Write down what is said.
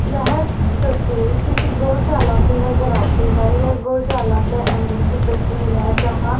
यह तस्वीर किसी गौशाला की नजर आती हैं यह गौशाला के अंदर की तस्वीर है जहां--